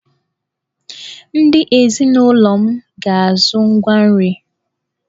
Ndị ezinụlọ m ga-azụ ngwa nri!